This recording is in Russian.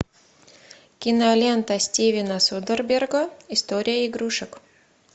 кинолента стивена содерберга история игрушек